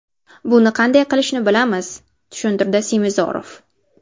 Buni qanday qilishni bilamiz”, tushuntirdi Semizorov.